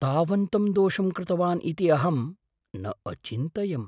तावन्तं दोषं कृतवान् इति अहम् न अचिन्तयम्? छात्रः